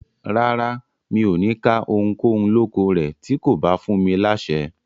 Rárá, mi ò ní ká ohunkóhun lóko rẹ̀ tí kò bá fún mi láṣẹ.